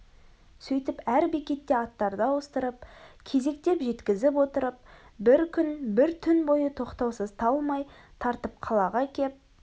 сөйтіп әр бекетте аттарды ауыстырып кезектеп жеткізіп отырып бір күн бір түн бойы тоқтаусыз талмай тартып қалаға кеп